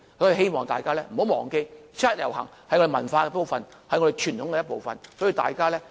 因此，希望大家不要忘記，七一遊行是我們的文化和傳統的一部分，所以，大家記得，七一維園見。